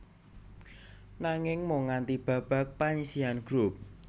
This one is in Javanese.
Nanging mung nganti babak panyisihan grup